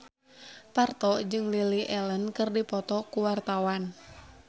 Parto jeung Lily Allen keur dipoto ku wartawan